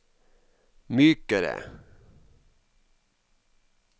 mykere